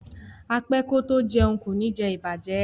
A pe ko to jeun ko ni je ibaje